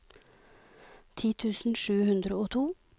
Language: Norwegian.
ti tusen sju hundre og to